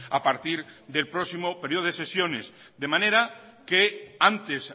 a partir del próximo periodo de sesiones de manera que antes